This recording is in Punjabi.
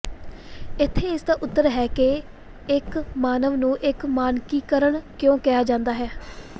ਇੱਥੇ ਇਸ ਦਾ ਉਤਰ ਹੈ ਕਿ ਇੱਕ ਮਾਨਵ ਨੂੰ ਇੱਕ ਮਾਨਕੀਕਰਣ ਕਿਉਂ ਕਿਹਾ ਜਾਂਦਾ ਹੈ